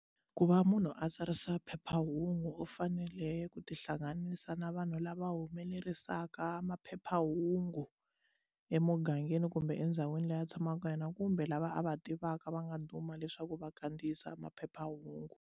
Ku va munhu a tsarisa phephahungu u fanele ku tihlanganisa na vanhu lava humelerisaka maphephahungu emugangeni kumbe endhawini leyi a tshamaka ka yona kumbe lava a va tivaka va nga duma leswaku va kandziyisa maphephahungu.